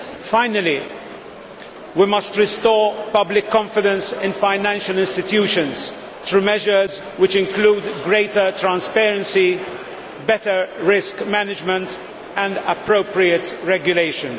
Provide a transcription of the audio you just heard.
Finally, we must restore public confidence in financial institutions through measures which include greater transparency, better risk management and appropriate regulation.